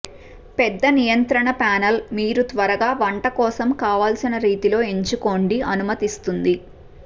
పెద్ద నియంత్రణ ప్యానెల్ మీరు త్వరగా వంట కోసం కావలసిన రీతిలో ఎంచుకోండి అనుమతిస్తుంది